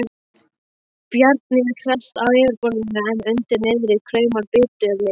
Bjarni er hress á yfirborðinu en undir niðri kraumar biturleiki.